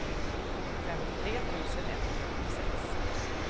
femtiotre tusen etthundrasjuttiosex